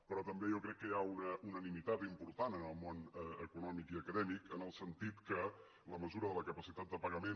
però també jo crec que hi ha una unanimitat important en el món econòmic i acadèmic en el sentit que la mesura de la capacitat de pagament